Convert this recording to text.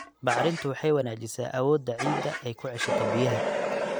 Bacrintu waxay wanaajisaa awoodda ciidda ay ku ceshato biyaha.